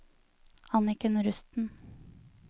Anniken Rusten